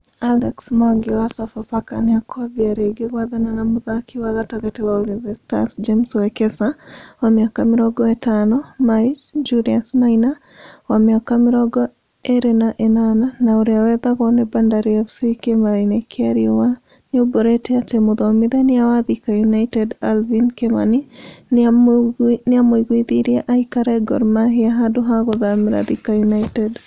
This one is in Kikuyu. Alex Mwangi wa Sofapaka nĩmakwambia rĩngĩ gwethana na mũthaki wa gatagati wa ulinzi stars James Wekesa, wa mĩaka mĩrongo ĩtano, (Maich) Julius Maina , wa mĩaka mĩrongo ĩrĩ na ĩnana, na urĩa wethagwo nĩ Bandari FC kĩmera-inĩ kĩa riũa nĩaumbũrĩte atĩ mũthomithania wa Thika United Alvin Kimani nĩamũiguithirie aikare Gor Mahia handũ ha gũthamĩra Thika United